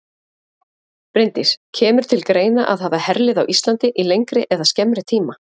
Bryndís: Kemur til greina að hafa herlið á Íslandi í lengri eða skemmri tíma?